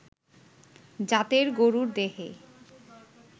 জাতের গরুর দেহে